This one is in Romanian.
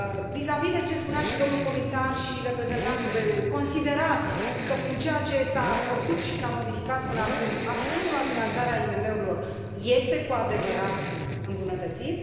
Vizavi de ceea ce spunea și domnul comisar și reprezentantul BEI ului considerați că prin ceea ce s a făcut și s a modificat până acum, accesul la finanțarea IMM urilor este cu adevărat îmbunătățit?